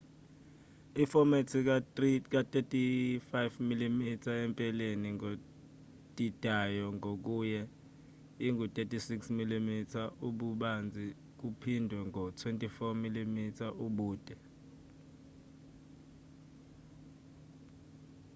ifomethi ka-35mm empeleni ngodidayo ngokunye ingu-36mm ububanzi kuphindwe ngo-24mm ubude